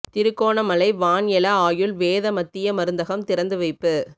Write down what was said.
திருகோணமலை வான் எல ஆயுள் வேத மத்திய மருந்தகம் திறந்து வைப்பு